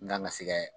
N kan ka sɛ kɛ